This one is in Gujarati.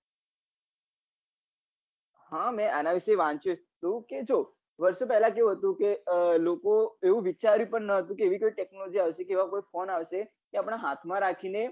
હા મેં આના વિશે વાંચ્યું હતું કે જો વર્ષો પેલા કેવું હતું કે લોકો એ વિચાર્યું પણ નતુ કે એવી કોઈ technology કે એવા કોઈ phone આવશે કે હાથમાં રાખીને